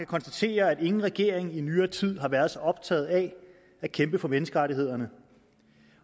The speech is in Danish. konstatere at ingen regering i nyere tid har været så optaget af at kæmpe for menneskerettighederne